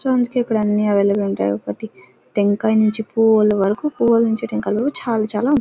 చూడ్డానికి అన్ని అవైలబుల్ గా ఉంటాయి. ఒకటి టెంకాయ నుంచి పువ్వుల వరకు పువ్వుల నుంచి టెంకాయలు వరకు చాలా చాలా --